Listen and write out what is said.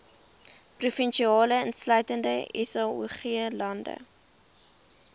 provinsie insluitende saoglande